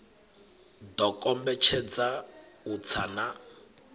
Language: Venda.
ḓo kombetshedza u tsa na